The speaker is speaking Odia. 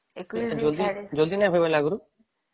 ଜଲ୍ଦି ନାଇଁ ହେବ ଆଗରୁ ?